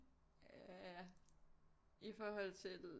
Ja i forhold til